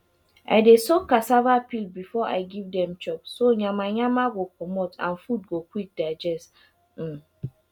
i dey soak cassava peel before i give dem chop so yama yama go comot and food go quick digest um